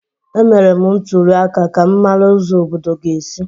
Emere m ntuli aka ka m mara ụzọ obodo ga-esi.